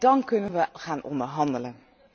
Dan kunnen we gaan onderhandelen.